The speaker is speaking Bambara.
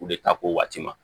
U de ta ko waati ma